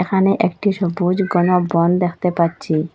এখানে একটি সবুজ ঘন বন দেখতে পাচ্ছি।